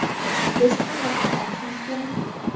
– Biz advokat olishimiz kerakmi?